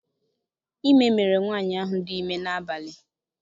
Ime mere nwaanyị ahụ dị ime n'abalị.